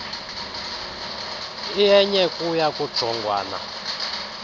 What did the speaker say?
iyenye kuya kujongwana